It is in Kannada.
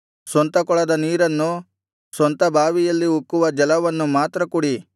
ಸ್ವಂತ ಕೊಳದ ನೀರನ್ನು ಸ್ವಂತ ಬಾವಿಯಲ್ಲಿ ಉಕ್ಕುವ ಜಲವನ್ನು ಮಾತ್ರ ಕುಡಿ